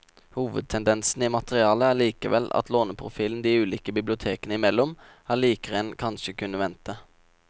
Hovedtendensen i materialet er likevel at låneprofilen de ulike bibliotekene imellom er likere enn en kanskje kunne vente.